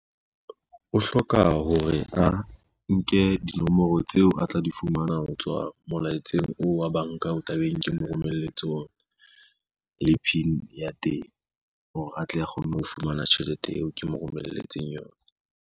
O hloka hore a nke dinomoro tseo a tla di fumana ho tswa molaetseng oo wa banka o tla beng ke mo romelletse ona, le PIN ya teng hore atle a kgone ho fumana tjhelete eo ke mo romelletseng yona.